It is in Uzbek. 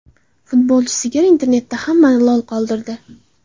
Futbolchi sigir internetda hammani lol qoldirdi .